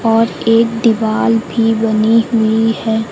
और एक दिवाल भी बनी हुई हैं।